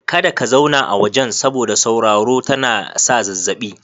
Kada Ka zauna a wajen, saboda sauraro tana sa zazzabi.